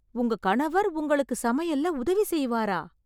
உங்க கணவர் உங்களுக்கு சமையல்ல உதவி செய்வாரா?